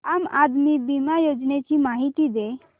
आम आदमी बिमा योजने ची माहिती दे